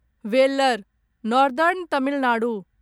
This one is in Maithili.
valour northern Tamil Nadu